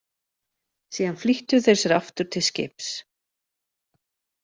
Síðan flýttu þeir sér aftur til skips.